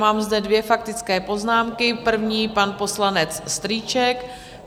Mám zde dvě faktické poznámky - první pan poslanec Strýček.